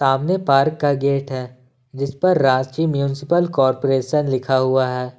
सामने पार्क का गेट है जिस पर रांची म्युनिसिपल कॉरपोरेशन लिखा हुआ है।